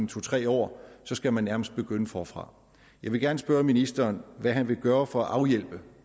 to tre år skal man nærmest begynde forfra jeg vil gerne spørge ministeren hvad han vil gøre for at afhjælpe